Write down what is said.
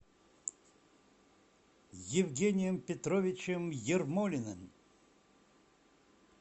евгением петровичем ермолиным